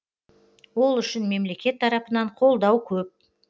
ол үшін мемлекет тарапынан қолдау көп